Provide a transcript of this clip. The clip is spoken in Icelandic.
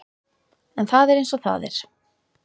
En það er eins og það er.